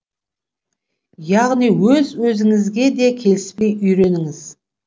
яғни өз өзіңізге де келіспей үйреніңіз